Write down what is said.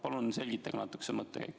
Palun selgitage natuke seda mõttekäiku.